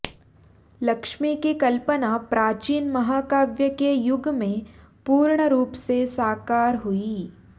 लक्ष्मी की कल्पना प्राचीन महाकाव्य के युग में पूर्ण रुप से साकार हुई